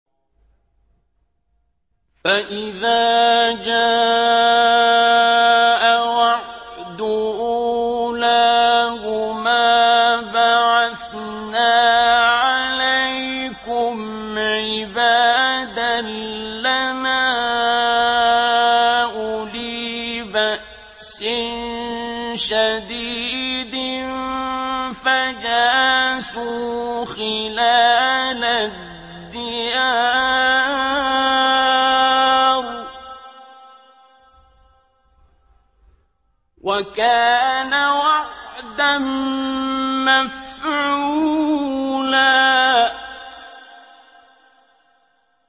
فَإِذَا جَاءَ وَعْدُ أُولَاهُمَا بَعَثْنَا عَلَيْكُمْ عِبَادًا لَّنَا أُولِي بَأْسٍ شَدِيدٍ فَجَاسُوا خِلَالَ الدِّيَارِ ۚ وَكَانَ وَعْدًا مَّفْعُولًا